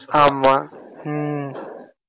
ஆமா உம்